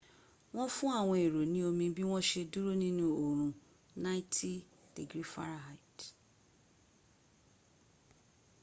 wọ́n fún àwọn èrò ní omi bí wọ́n ṣe dúró nínu orun 90f